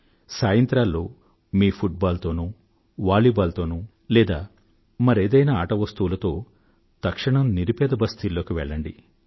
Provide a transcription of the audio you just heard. సాయంత్రాల్లో మీ football తోనో volleyball తోనో లేదా మరేదైనా ఆట వస్తువులతో తక్షణం నిరుపేద బస్తీల్లోకి వెళ్లండి